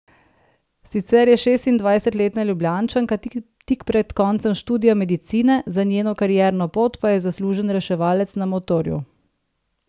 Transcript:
Sicer je šestindvajsetletna Ljubljančanka tik pred koncem študija medicine, za njeno karierno pot pa je zaslužen reševalec na motorju.